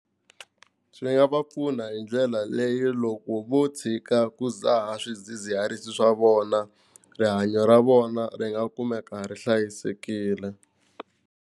Swi nga va pfuna hi ndlela leyi loko vo tshika ku dzaha swidzidziharisi swa vona rihanyo ra vona ri nga kumeka ri hlayisekile.